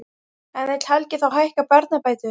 En vill Helgi þá hækka barnabætur?